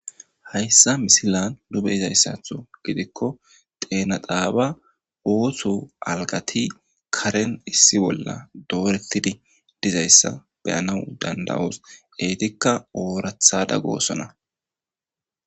hayssa misilanbeylzayssatho gidikko teenaxaaba oosho algati karen issi bolla doorettidi dizayssa beyana dandawoos eetikka oorathada goosona